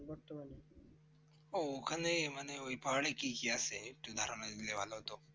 ওহঃ ওখানে মানে ওই পাহাড়ে কি কি আছে একটু ধারণা দিলে ভালো হতো